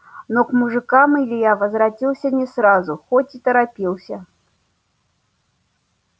но к мужикам илья возвратился не сразу хоть и торопился